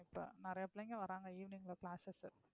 இப்ப நிறைய பிள்ளைங்க வர்றாங்க evening ல classes